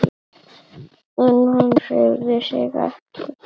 En hann hreyfði sig ekki.